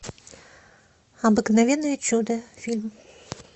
обыкновенное чудо фильм